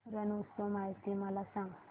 रण उत्सव माहिती मला सांग